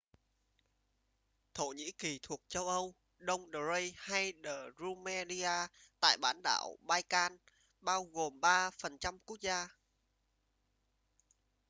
thổ nhĩ kỳ thuộc châu âu đông thrace hay rumelia tại bán đảo balkan bao gồm 3% quốc gia